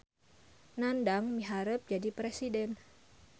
Nandang miharep jadi presiden